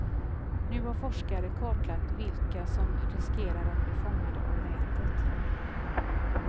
Nu har forskare kartlagt vilka som riskerar att bli fångade av nätet.